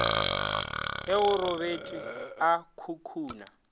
ge go robetšwe a khukhuna